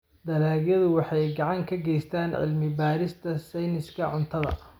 Dalagyadu waxay gacan ka geystaan ??cilmi-baarista sayniska cuntada.